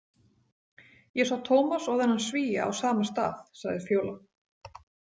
Ég sá Tómas og þennan Svía á sama stað, sagði Fjóla.